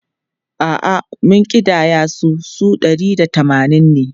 A’a, mun ƙidaya su, su ɗari da tamanin ne.